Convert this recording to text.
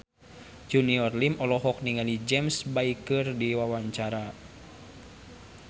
Junior Liem olohok ningali James Bay keur diwawancara